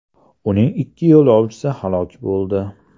Uning ikki yo‘lovchisi halok bo‘ldi.